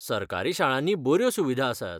सरकारी शाळांनी बऱ्यो सुविधा आसात.